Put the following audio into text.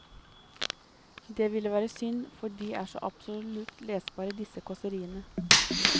Det ville være synd, for de er så absolutt lesbare disse kåseriene.